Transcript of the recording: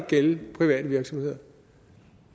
gælde private virksomheder